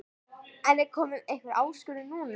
En er komin einhver áskorun núna?